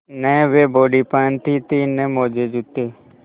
न वे बॉडी पहनती थी न मोजेजूते